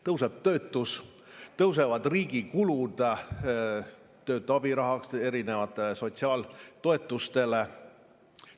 Kasvab töötus, kasvavad riigi kulud töötu abirahast erinevate sotsiaaltoetusteni.